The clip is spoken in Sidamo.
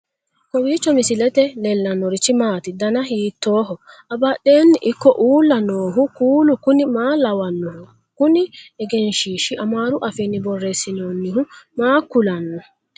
kowiicho misilete leellanorichi maati ? dana hiittooho ?abadhhenni ikko uulla noohu kuulu kuni maa lawannoho? kuni egenshshiishi amaaru afiinni borreessinoonnihu maa kulanno